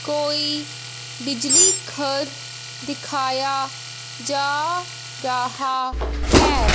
कोई बिजली घर दिखाया जा रहा है।